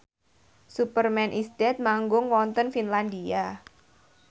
Superman is Dead manggung wonten Finlandia